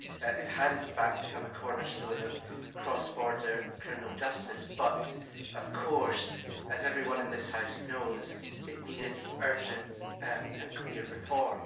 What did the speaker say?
It had in fact become a cornerstone of cross border criminal justice but, of course, as everyone in this House knows, it needed urgent and clear reform.